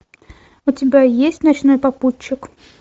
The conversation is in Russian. у тебя есть ночной попутчик